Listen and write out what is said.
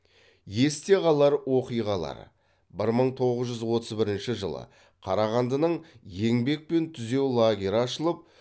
есте қалар оқиғалар бір мың тоғыз жүз отыз бірінші жылы қарағандының еңбекпен түзеу лагері ашылып